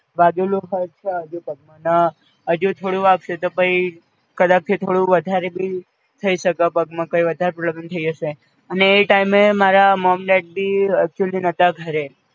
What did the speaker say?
વાગેલું હજ છે હજુ પગમાં અને હજુ થોડું વાગસે તો પઈ કદાપિ થોડું વધારે ભી થઈ શકે પગમાં, કઈ વધારે problem થઈ જસે અને એ ટાઈમે મારા મોમ ડેડ ભી actually નતાં ઘરે